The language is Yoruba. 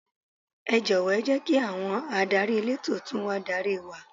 Ẹ jọ̀wọ́ ẹ jẹ́ kí àwọn adarí elétò tún wá darí wa.